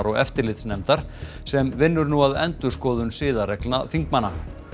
eftirlitsnefndar sem vinnur nú að endurskoðun siðareglna þingmanna